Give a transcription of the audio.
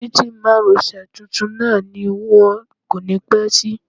Títì márosẹ̀ tuntun náà ni wón kò ní pẹ́ ṣí.